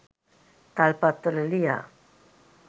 තල්පත්වල ලියා